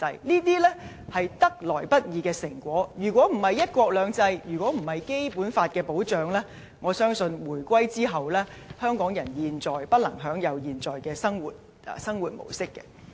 這些是得來不易的成果，如果不是"一國兩制"，如果不是《基本法》的保障，我相信回歸後，香港人不能享有現在的生活模式。